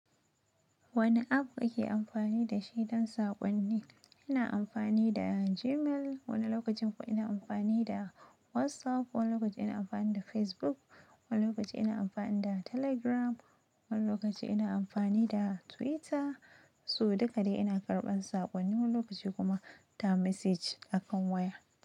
Wane app ake amfani da shi don saƙonni? Ina amfani da Gmail, wani lokacin kuwa ina amfani da WhatsApp, wani lokaci ina amfani da Facebook, wani lokaci ina amfani da Telegram, wani lokaci ina amfani da Twitter. Su duka dai ina karɓan saƙonni, wani lokaci kuma ta message akan waya.